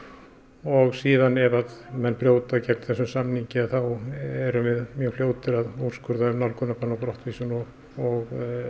og síðan ef menn brjóta gegn þessum samningi þá erum við mjög fljótir að úrskurða um nálgunarbann og brottvísun og og